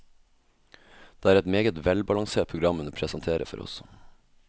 Det er et meget velbalansert program hun presenterer for oss.